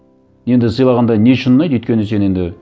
енді сыйлағанда не үшін ұнайды өйткені сен енді